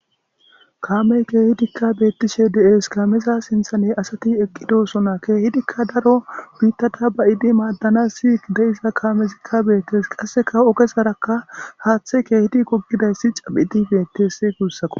Haamey keehidikka beettishe de'es kaameza sintha ne asati eqqidosona keehidikka daro biittata bayidi maaddana sii da7iza kaamezikka beettes qasseka ogesarakka haaththe keehidi gogidayssi capidibetes kuussako.